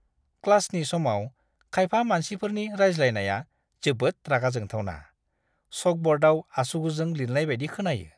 क्लासनि समाव खायफा मानसिफोरनि रायज्लायनाया जोबोद रागा जोंथावना; चकब'र्डाव आसुगुरजों लिरनाय बायदि खोनायो!